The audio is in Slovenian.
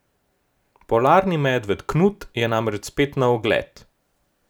Polarni medved Knut je namreč spet na ogled.